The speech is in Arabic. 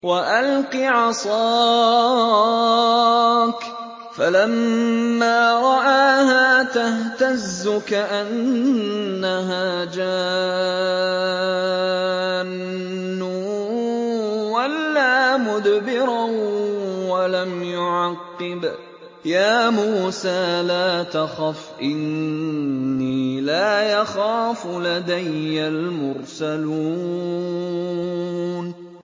وَأَلْقِ عَصَاكَ ۚ فَلَمَّا رَآهَا تَهْتَزُّ كَأَنَّهَا جَانٌّ وَلَّىٰ مُدْبِرًا وَلَمْ يُعَقِّبْ ۚ يَا مُوسَىٰ لَا تَخَفْ إِنِّي لَا يَخَافُ لَدَيَّ الْمُرْسَلُونَ